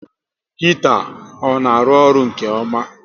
Hita ọ na arụ ọrụ nke ọma?